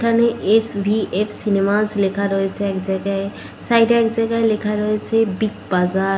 এখানে S .V .F cinemas লেখা রয়েছে এক জায়গায় সাইড -এ এক জায়গায় লেখা রয়েছে বিগ বাজার ।